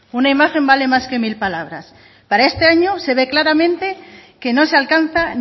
una imagen vale más que mil palabras para este año se ve claramente que no se alcanza